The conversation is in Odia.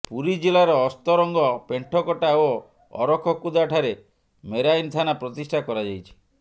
ପୁରୀ ଜିଲ୍ଲାର ଅସ୍ତରଙ୍ଗ ପେଣ୍ଠକଟା ଓ ଅରଖକୁଦା ଠାରେ ମେରାଇନ ଥାନା ପ୍ରତିଷ୍ଠା କରାଯାଇଛି